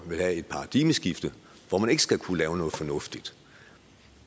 vil have et paradigmeskifte hvor man ikke skal kunne lave noget fornuftigt